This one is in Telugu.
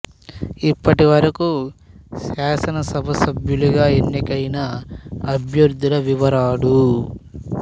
ఇప్పటి వరకు శాసన సభ సభ్యులుగా ఎన్నికైన అభ్యర్థుల వివరాలు